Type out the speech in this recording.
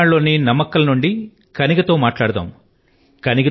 తమిళ నాడు లోని నామక్కల్ నుండి పుత్రిక కనిగా తో మాట్లాడదాం